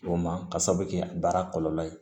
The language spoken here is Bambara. O ma ka sababu kɛ baara kɔlɔlɔ ye